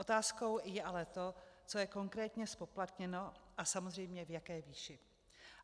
Otázkou je ale to, co je konkrétně zpoplatněno a samozřejmě v jaké výši.